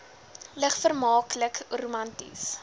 lig vermaaklik romanties